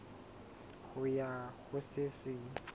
ho ya ho se seng